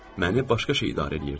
Məni başqa şey idarə eləyirdi.